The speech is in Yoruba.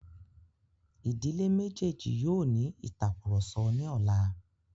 Ìdílé méjèjì yóò ní ìtàkurọ̀sọ ní ọlá.